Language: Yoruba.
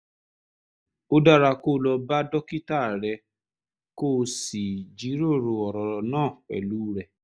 ó dára kó o lọ bá dókítà rẹ kó o sì jíròrò ọ̀rọ̀ náà pẹ̀lú rẹ̀